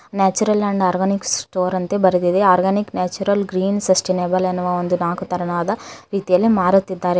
Natural and organic store ಅಂತೇ ಬರೆದಿದೆ organic natural green sustainable ಎನ್ನುವ ಒಂದು ನಾಕು ತರನಾದ ರೀತಿಯಲ್ಲಿ ಮಾರುತ್ತಿದ್ದಾರೆ.